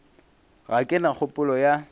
ga ke na kgopolo ya